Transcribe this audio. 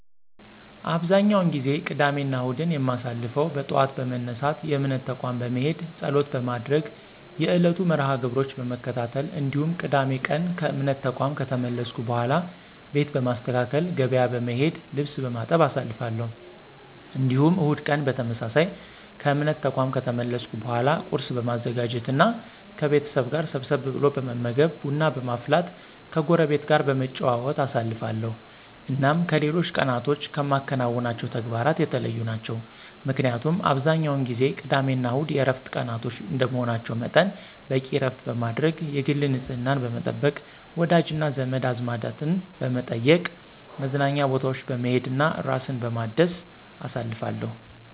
አብዛኛውን ጊዜ ቅዳሜና እሁድን የማሳልፈው በጠዋት በመነሳት የእምነት ተቋም በመሄድ ፀሎት በማድረግ የዕለቱን መርሐ -ግብሮች በመከታተል እንዲሁም ቅዳሜ ቀን ከእምነት ተቋም ከተመለስኩ በኃላ ቤት በማስተካከል፣ ገበያ በመሄድ፣ ልብስ በማጠብ አሳልፋለሁ። እንዲሁም እሁድ ቀን በተመሳሳይ ከእምነት ተቋም ከተመለስኩ በኃላ ቁርስ በማዘጋጀት እና ከቤተሰብ ጋር ሰብሰብ ብሎ በመመገብ፣ ቡና በማፍላት ከጎረቤት ጋር በመጨዋወት አሳልፋለሁ። እናም ከሌሎች ቀናቶች ከማከናውናቸው ተግባራት የተለዩ ናቸው። ምክንያቱም አብዛኛውን ጊዜ ቅዳሜና እሁድ የዕረፍት ቀናቶች እንደመሆናቸው መጠን በቂ ዕረፍት በማድረግ፣ የግል ንፅህናን በመጠበቅ፣ ወዳጅና ዘመድ አዝማድን በመጠየቅ፣ መዝናኛ ቦታዎች በመሄድ እና ራስን በማደስ አሳልፋለሁ።